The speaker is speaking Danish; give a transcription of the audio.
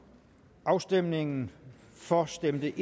afstemningen for stemte